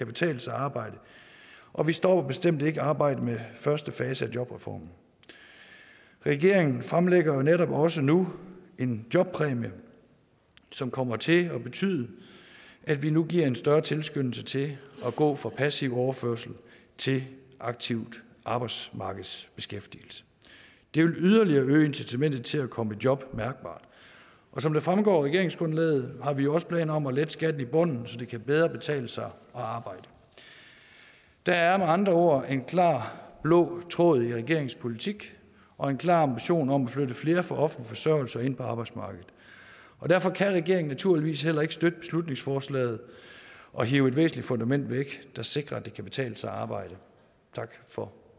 betale sig at arbejde og vi stopper bestemt ikke arbejdet med første fase af jobreformen regeringen fremlægger netop også nu en jobpræmie som kommer til at betyde at vi nu giver en større tilskyndelse til at gå fra passiv overførsel til aktiv arbejdsmarkedsbeskæftigelse det vil yderligere øge incitamentet til at komme i job mærkbart og som det fremgår af regeringsgrundlaget har vi også planer om at lette skatten i bunden så det bedre kan betale sig at arbejde der er med andre ord en klar blå tråd i regeringens politik og en klar ambition om at flytte flere fra offentlig forsørgelse ind på arbejdsmarkedet derfor kan regeringen naturligvis heller ikke støtte beslutningsforslaget og hive et væsentligt fundament væk der sikrer at det kan betale sig at arbejde tak for